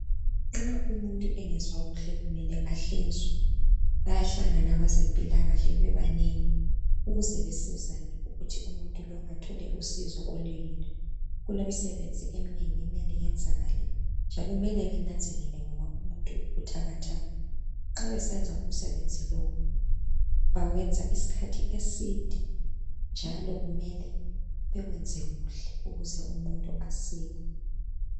Nxa umuntu engezwakuhle kumele ahlinzwe, bayahlangana abezempilakahle bebanengi ukuze basizane ukuthi umuntu lo athole usizo oluyilo. Kulemisebenzi eminengi okumele iyenzakale njalo kumele benanzelele ngoba umuntu ubuthakathaka, nxa besenza umsebenzi lo bathatha isikhathi eside njalo kumele bewenze kuhle ukuze umuntu sile.